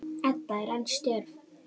Edda er enn stjörf.